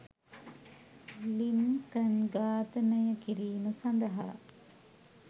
Lincoln ඝාතනය කිරීම සඳහා